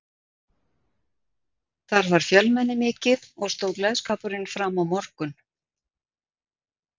Þar var fjölmenni mikið og stóð gleðskapurinn fram á morgun.